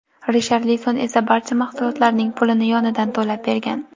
Risharlison esa barcha mahsulotning pulini yonidan to‘lab bergan.